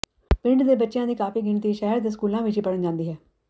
ਪਿੰਡ ਦੇ ਬੱਚਿਆਂ ਦੀ ਕਾਫ਼ੀ ਗਿਣਤੀ ਸ਼ਹਿਰ ਦੇ ਸਕੂਲਾਂ ਵਿਚ ਵੀ ਪੜ੍ਹਨ ਜਾਂਦੀ ਹੈ